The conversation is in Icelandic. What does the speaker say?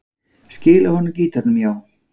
Skila honum gítarnum, já.